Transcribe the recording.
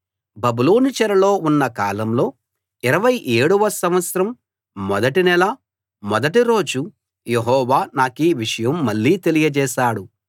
బబులోను చెరలో ఉన్న కాలంలో ఇరవై ఏడవ సంవత్సరం మొదటి నెల మొదటి రోజు యెహోవా నాకీ విషయం మళ్ళీ తెలియచేశాడు